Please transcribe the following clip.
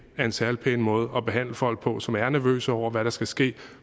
er en særlig pæn måde at behandle folk på som er nervøse over hvad der skal ske og